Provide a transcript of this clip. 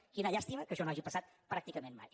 quina llàstima que això no hagi passat pràcticament mai